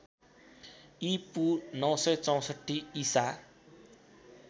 ईपू ९६४ ईसा